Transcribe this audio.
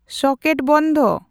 socket ᱵᱚᱱᱫᱷ